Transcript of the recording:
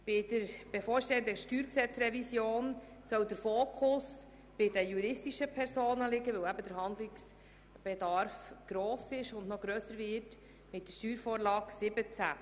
Bei der bevorstehenden StG-Revision soll der Fokus auf den juristischen Personen liegen, weil der Handlungsbedarf hier gross ist und mit der Steuervorlage 17 (SV17) noch grösser wird.